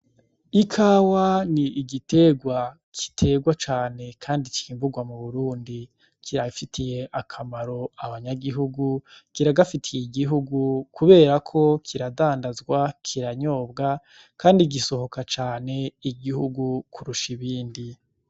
Ikawa ni igitegwa kiterwa cane, kandi cimburwa mu burundi kirafitiye akamaro abanyagihugu kiragafitiye igihugu, kubera ko kiradandazwa kiranyobwa, kandi igisohoka cane igihugu kurusha ibindi.